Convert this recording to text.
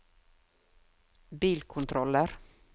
bilkontroller